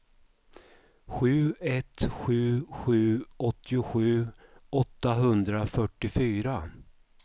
sju ett sju sju åttiosju åttahundrafyrtiofyra